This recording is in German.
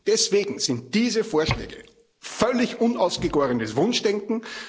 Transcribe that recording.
Deswegen sind diese Vorschläge völlig unausgegorenes Wunschdenken.